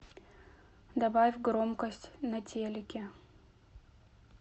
добавь громкость на телике